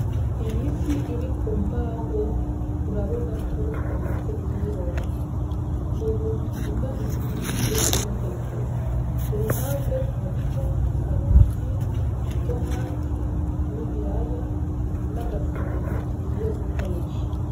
Iyi fi iri kumbaho urabona ko bamaze kuyiroba. Ubu tuvugana tugiye kuyitegura. Kuruhande hariho ikaroti, itomati n'ibiraya naga sereli tugiy gukoresha.